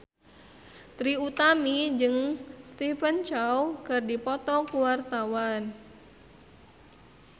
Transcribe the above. Trie Utami jeung Stephen Chow keur dipoto ku wartawan